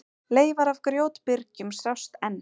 Leifar af grjótbyrgjum sjást enn.